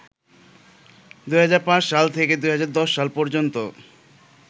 ২০০৫ সাল থেকে ২০১০ সাল পর্যন্ত